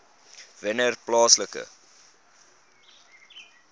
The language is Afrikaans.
wennerplaaslike